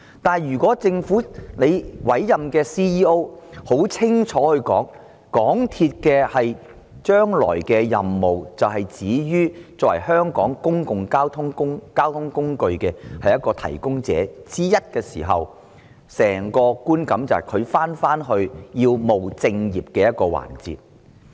不過，如果政府委任的行政總裁很清楚地表示，港鐵公司將來的任務只限於作為香港公共交通工具的提供者之一時，整個觀感便是港鐵公司回到務正業的環節。